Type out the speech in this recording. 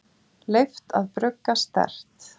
Leyft að brugga sterkt